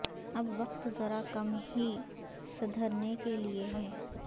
اب وقت ذرا کم ہی سدھرنے کے لیے ہے